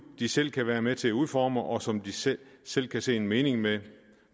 de selv kan være med til at udforme og som de selv selv kan se en mening med